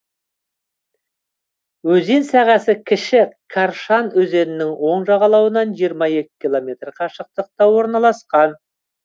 өзен сағасы кіші каршан өзенінің оң жағалауынан жиырма екі километр қашықтықта орналасқан